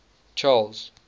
charles